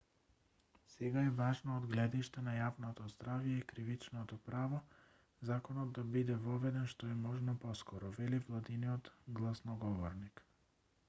сега е важно од гледиште на јавното здравје и кривичното право законот да биде воведен што е можно поскоро вели владиниот гласноговорник